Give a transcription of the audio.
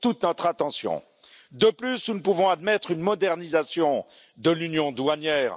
toute notre attention. De plus, nous ne pouvons admettre une modernisation de l'union douanière